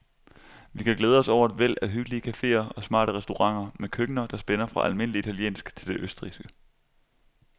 Vi kan glæde os over et væld af hyggelige cafeer og smarte restauranter med køkkener, der spænder fra almindelig italiensk til det østrigske.